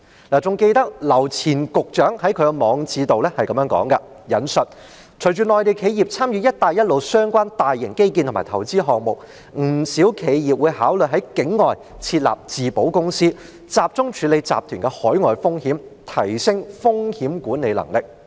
我還記得劉前局長在他的網誌中這樣說："隨着內地企業參與'一帶一路'相關大型基建和投資項目，不少企業會考慮在境外設立自保公司，集中處理集團的海外風險，提升風險管理能力。